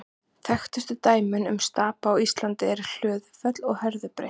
Þekktustu dæmin um stapa á Íslandi eru Hlöðufell og Herðubreið.